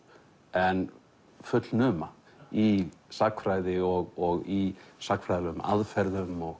en fullnuma í sagnfræði og í sagnfræðilegum aðferðum og